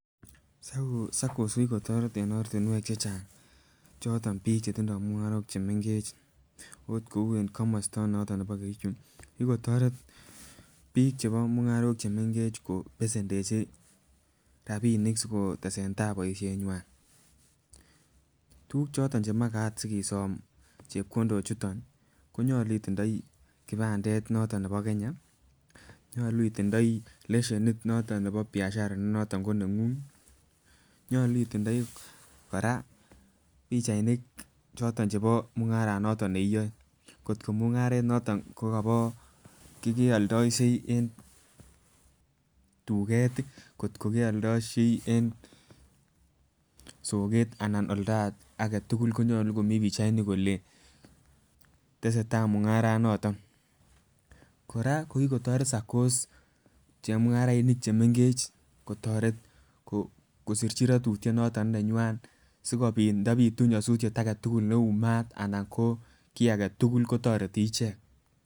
SACCO, SACCOS ko kikotoret en ortinwek chechang choton bik chetindo mungarok chemenkech ot kou en komosto noton nebo kericho ko kikotoret bik chebo mungarok chemenkech kobesendechi rabinik sikotesentai boishenywan. Tukuk chiton chemakat sisom chepkondok choton konyolu itindoi kipandet noton nebo Kenya, nyolu itiindoi leshenit noton nebo biashara ne noton konenguny, nyolu itiindoi pichainik choton chebo mungaran niton neiyoe kotko mungaret noton kokobo nekeoldoishe en duket tii, kotko keldoishei en soket ana olda agetukul konyolu kimii pichainik kole tesetai mungaranoton. Koraa kokikotore SACCOS chemungarainik chemenkech kotoret kosirchi rotutyet noton neywan sikopit ndopitu nyosutyet agetukul neu maat anan ko kii agetukul kotoretin icheket.